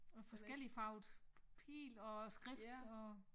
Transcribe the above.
Og forskelligfarvet pile og skrift og